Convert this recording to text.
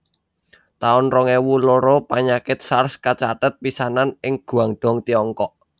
taun rong ewu loro Panyakit Sars kacathet pisanan ing Guangdong Tiongkok